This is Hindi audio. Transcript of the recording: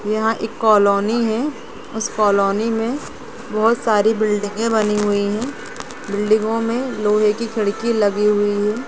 यहाँ एक कालोनी हैंउस कालोनी मे बहुत सारी बिल्डिंगे बनी हुई हैं बिल्डिंगों मे लोहे की खिड़की लगी हुई हैं।